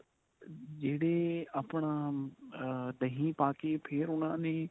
ਜਿਹੜੇ ਆਪਣਾ ah ਦਹੀ ਪਾ ਕੇ ਫੇਰ ਉਨ੍ਹਾਂ ਨੇ